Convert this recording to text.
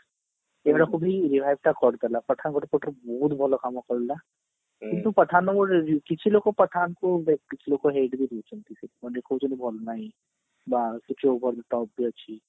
ଏଟା ସବୁ revive ଟା କରିଦେଲା pathan ଗୋଟେ ପଟରୁ ବହୁତ ଭଲ କାମ କରିଲା କିନ୍ତୁ pathan କିଛି ଲୋକ pathan କୁ but କିଛି ଲୋକ hate ବି ଦଉଛନ୍ତି ସେଥି ପାଇଁ ଦେଖୋଉଛନ୍ତି ଭଲ ନହିଁ ବା କିଛି type ବି ଅଛି